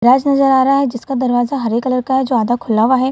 दराज़ नज़र आ रहा है जिसका दरवाज़ा हरे कलर का है |